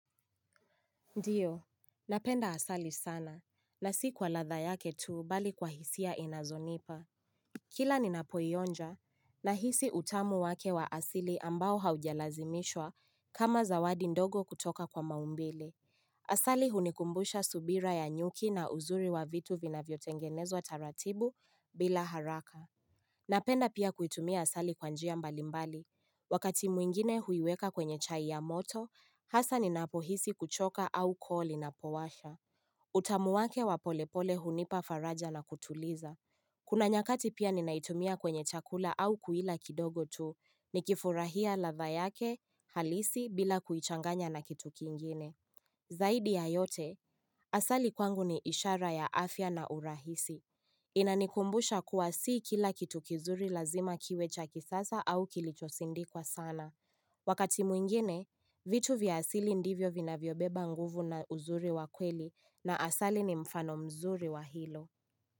Ndiyo, napenda asali sana, na si kwa ladha yake tuu bali kwa hisia inazonipa Kila ninapoionja, nahisi utamu wake wa asili ambao haujalazimishwa kama zawadi ndogo kutoka kwa maumbile Asali hunikumbusha subira ya nyuki na uzuri wa vitu vinavyotengenezwa taratibu bila haraka Napenda pia kuitumia asali kwa njia mbalimbali. Wakati mwingine huiweka kwenye chai ya moto, hasa ninapohisi kuchoka au koo linapowasha. Utamu wake wa polepole hunipa faraja na kutuliza. Kuna nyakati pia ninaitumia kwenye chakula au kuila kidogo tu nikifurahia ladha yake halisi bila kuichanganya na kituki kingine. Zaidi ya yote, asali kwangu ni ishara ya afya na urahisi Inanikumbusha kuwa si kila kitu kizuri lazima kiwe cha kisasa au kilichosindikwa sana Wakati mwingene, vitu vya asili ndivyo vinavyo beba nguvu na uzuri wa kweli na asali ni mfano mzuri wa hilo.